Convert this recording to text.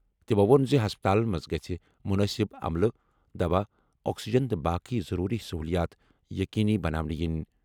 تِمَو ووٚن زِ ہسپتالَن منٛز گژھہِ مُنٲسِب عملہٕ، دوا، آکسیجن تہٕ باقی ضروٗری سٔہوٗلِیات یقینی بناونہٕ یِنۍ۔